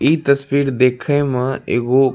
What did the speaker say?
इ तस्बीर देखे मा एगो --